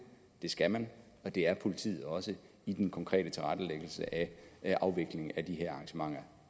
det skal man og det er politiet også i den konkrete tilrettelæggelse af afviklingen af de her arrangementer